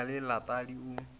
e na le letadi o